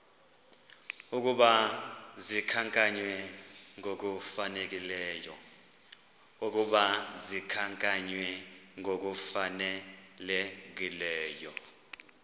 ukuba zikhankanywe ngokufanelekileyo